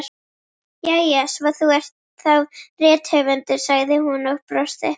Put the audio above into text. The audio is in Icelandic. Jæja, svo þú ert þá rithöfundur, sagði hún og brosti.